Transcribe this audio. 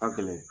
Ka gɛlɛn